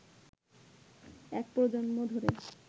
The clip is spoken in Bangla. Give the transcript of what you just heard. এক প্রজন্ম ধরে